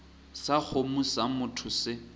sa kgomo sa motho se